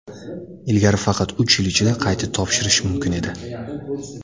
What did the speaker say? Ilgari faqat uch yil ichida qayta topshirish mumkin edi.